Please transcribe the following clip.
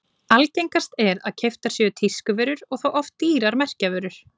Algengast er að keyptar séu tískuvörur og þá oft dýrar merkjavörur.